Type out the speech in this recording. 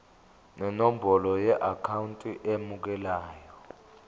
nenombolo yeakhawunti emukelayo